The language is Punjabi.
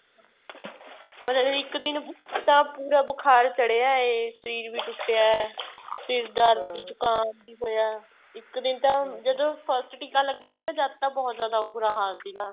ਮਤਲਬ ਇੱਕ ਦਿਨ ਪੂਰਾ ਬੁਖ਼ਾਰ ਚੜਿਆ ਏ ਸ਼ਰੀਰ ਵੀ ਟੁੱਟਿਆ ਏ ਸਿਰ ਦਰਦ ਜ਼ੁਕਾਮ ਵੀ ਹੋਇਆ ਏ ਇੱਕ ਦਿਨ ਤਾਂ ਜਦੋਂ first ਟੀਕਾ ਲੱਗਿਆ ਸੀਗਾ ਜਦ ਤਾਂ ਬਹੁਤ ਬੂਰਾ ਹਾਲ ਸੀਗਾ